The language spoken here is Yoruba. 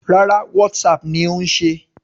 Rárá, Whatsapp ni ó ń ṣe.